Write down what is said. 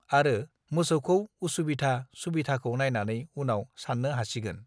आरो मोसौखौ उसुबिधा सुबिधाखौ नायनानै उनाव सान्नो हासिगोन